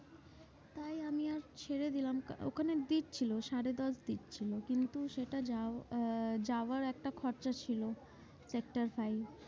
তাই আমি আর ছেড়ে দিলাম ওখানে দিচ্ছিলো সাড়ে দশ দিচ্ছিলো কিন্তু সেটা যাও আহ যাওয়ার একটা খরচা ছিল। এটা একটা